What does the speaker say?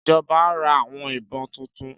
Ìjọba ra àwọn ìbọn tuntun